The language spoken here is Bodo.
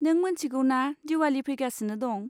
नों मोनथिगौ ना दिवाली फैगासिनो दं!